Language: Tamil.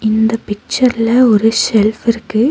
இந்த பிச்சர்ல ஒரு செஃல்ப் இருக்கு.